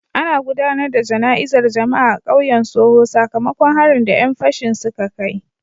Ana gudanar da jana'izar jama'a a kauyen Soho sakamakon harin da 'yan fashin suka kai.